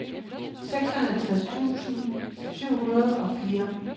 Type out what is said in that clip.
seksoghalvtreds tusind syv hundrede og fire